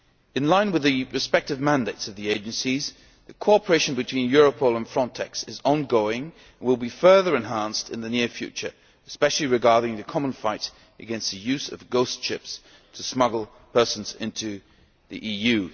In line with the respective mandates of the agencies, the cooperation between Europol and FRONTEX is ongoing and will be further enhanced in the near future, especially regarding the common fight against the use of ghost ships to smuggle persons into the EU.